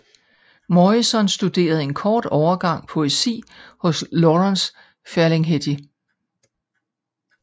Morrison studerede en kort overgang poesi hos Lawrence Ferlinghetti